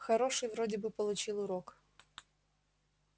хороший вроде бы получил урок